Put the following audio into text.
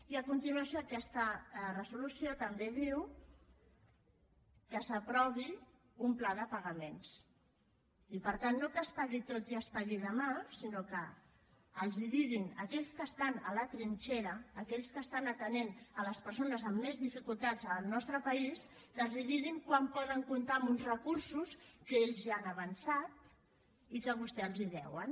i a continuació aquesta resolució també diu que s’aprovi un pla de pagaments i per tant no que es pagui tot i es pagui demà sinó que els diguin a aquells que estan a la trinxera a aquells que estan atenent les persones amb més dificultats del nostre país que els diguin quan poden comptar amb uns recursos que ells ja han avançat i que vostès els deuen